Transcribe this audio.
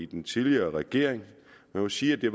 den tidligere regering man må sige at det